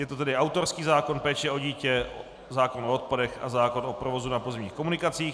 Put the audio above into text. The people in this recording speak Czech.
Je to tedy autorský zákon, péče o dítě, zákon o odpadech a zákon o provozu na pozemních komunikacích.